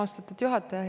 Austatud juhataja!